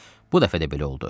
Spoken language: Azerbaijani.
Bu dəfə də belə oldu.